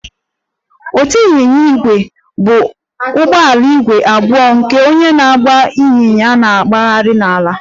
Otu ịnyịnya ígwè bụ ụgbọala wheeled abụọ nke onye na-agba ịnyịnya na-agagharị n'ala